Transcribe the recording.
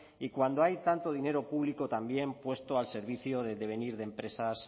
y cuando hay tanto dinero público también puesto al servicio del devenir de empresas